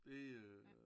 Det øh